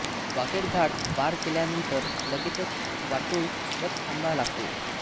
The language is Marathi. वाकेड घाट पार केल्यानंतर लगेचच वाटूळ बस थांबा लागतो